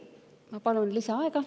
Ma palun lisaaega.